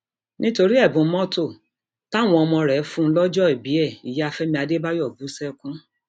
nítorí ẹbùn mọtò táwọn ọmọ rẹ fún un lọjọòbí ẹ ìyá fẹmi adébáyò bú sẹkún